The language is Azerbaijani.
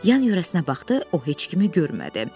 Yan-yörəsinə baxdı, o heç kimi görmədi.